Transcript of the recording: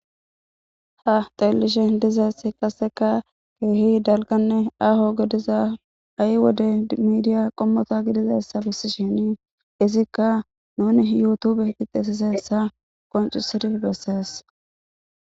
Ha xellishe dizeess qaseka keehi dalganne aho gediza ay wode miidiya qommota gidizassa bissi shinii izikka nuni yuutube gixisiseessa qoncusedif bessees.